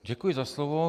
Děkuji za slovo.